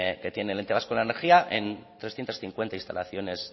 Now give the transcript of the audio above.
que tiene el ente vasco de la energía en trescientos cincuenta instalaciones